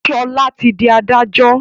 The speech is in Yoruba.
Ṣọlá ti di adájọ́